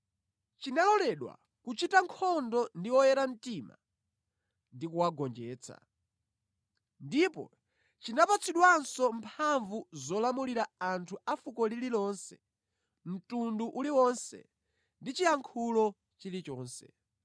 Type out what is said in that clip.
Chinaloledwa kuchita nkhondo ndi oyera mtima ndi kuwagonjetsa. Ndipo chinapatsidwanso mphamvu zolamulira anthu a fuko lililonse, mtundu uliwonse ndi chiyankhulo chilichonse.